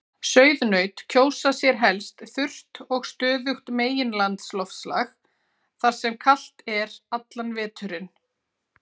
Sauðnaut kjósa sér helst þurrt og stöðugt meginlandsloftslag þar sem kalt er allan veturinn.